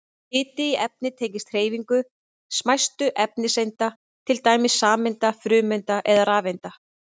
Hiti í efni tengist hreyfingu smæstu efniseinda, til dæmis sameinda, frumeinda eða rafeinda.